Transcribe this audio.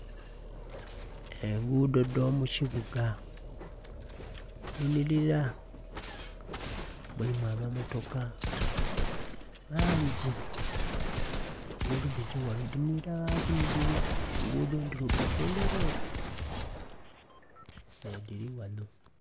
Engudho dho mu kibuga dhi nhilila, mulimu amamotoka mangi engudho dhili ghanho dhinhilila gha bunhilile, engudho ndhirugavu ndherere nhe dhili ghanho.